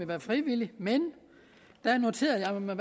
være frivillig men der noterede jeg mig